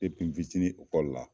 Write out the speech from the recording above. n fitinin ekɔli la